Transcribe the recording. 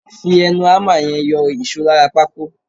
Fi ẹnu hámà yẹn yọ ìṣó lára pákó.